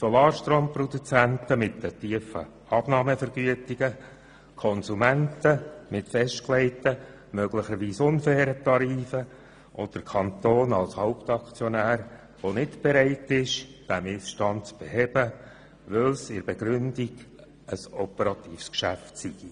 Zu den Verlierern gehören die Solarstromproduzenten mit den tiefen Abnahmevergütungen, die Konsumenten mit festgelegten, möglicherweise unfairen Tarifen, und der Kanton, der nicht bereit ist, diesen Missstand zu beheben, weil dieser laut Begründung zum operativen Bereich gehöre.